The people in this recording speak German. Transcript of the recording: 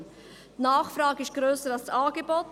Die Nachfrage ist grösser als das Angebot;